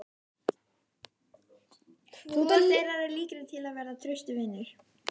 Hvor þeirra er líklegri til að verða traustur vinur?